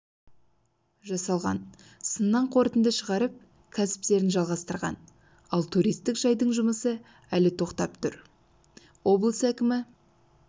жасалған сыннан қорытынды шығарып кәсіптерін жалғастырған ал туристік жайдың жұмысы әлі тоқтап тұр облыс әкімі